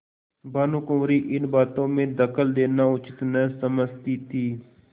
भानुकुँवरि इन बातों में दखल देना उचित न समझती थी